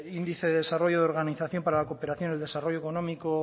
índice de desarrollo de organización para la cooperación y el desarrollo económico